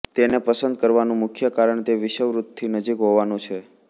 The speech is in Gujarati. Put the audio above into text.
તેને પસંદ કરવાનુ મુખ્ય કારણ તે વિષુવવૃતથી નજીક હોવાનું છે